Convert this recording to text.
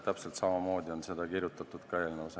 Täpselt samamoodi on kirjutatud ka eelnõus.